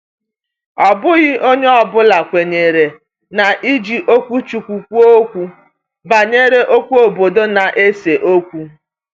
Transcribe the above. Ọ bụghị onye ọ bụla kwenyere n’iji okwuchukwu kwuo okwu banyere okwu obodo na-ese okwu.